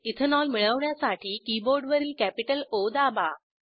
ethanol मिळवण्यासाठी कीबोर्डवरील capital O दाबा